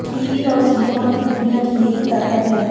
TV और cinema की दुनिया की यही ताकत है